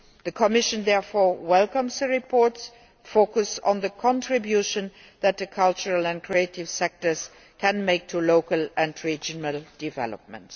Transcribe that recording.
The Commission therefore welcomes the report's focus on the contribution that the cultural and creative sectors can make to local and regional development.